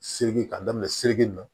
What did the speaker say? Segi ka daminɛ si